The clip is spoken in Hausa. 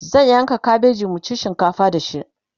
zan yanka kabeji mu ci shinkafa da shi